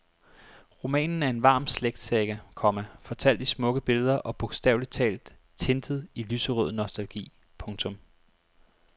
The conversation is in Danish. Romanen er en varm slægtssaga, komma fortalt i smukke billeder og bogstaveligt talt tintet i lyserød nostalgi. punktum